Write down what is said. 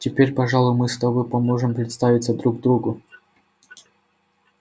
теперь пожалуй мы с тобой поможем представиться друг другу